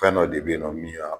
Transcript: Fɛn dɔ de bɛ yen nɔ min y'a